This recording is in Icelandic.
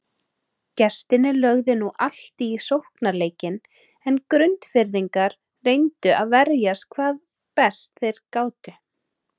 Gestirnir lögðu nú allt í sóknarleikinn en Grundfirðingar reyndu að verjast hvað best þeir gátu.